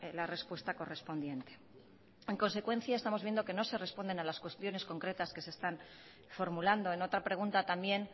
la respuesta correspondiente en consecuencia estamos viendo que no se responden a las cuestiones concretas que se están formulando en otra pregunta también